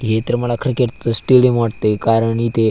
हे तर मला क्रिकेट च स्टेडिअम वाटतय कारण इथे --